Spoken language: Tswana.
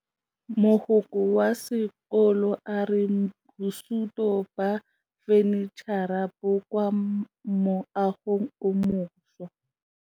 Mogokgo wa sekolo a re bosutô ba fanitšhara bo kwa moagong o mošwa.